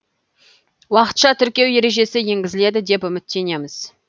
уақытша тіркеу ережесі енгізіледі деп үміттенеміз